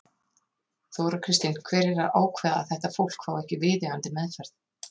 Þóra Kristín: Hver er að ákveða það að þetta fólk fái ekki viðeigandi meðferð?